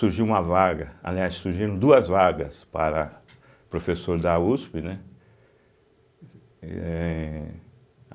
Surgiu uma vaga, aliás, surgiram duas vagas para professor da uspe, né? eh